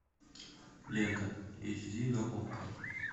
лента эйч ди на окко